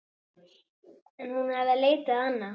En hún hafði leitað annað.